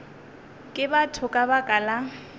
ke batho ka baka la